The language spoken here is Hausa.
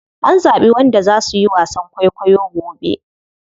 An zaɓi wanda za suyi wasan kwaikwayo gobe.